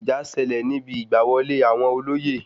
Ìjà le sẹlẹ̀ níbi Ìgbà wọlé àwọn olóyè